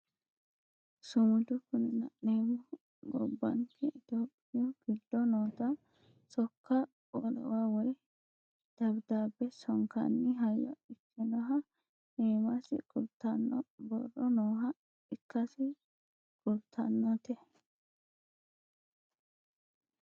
sumudu kuni la'nemmohu gobbanke itiyophiyu giddo noota sokka wolewa woye dabidaabbe sonkanni hayyo ikkinoha iimasi kultanno borro nooha ikkasi kultannote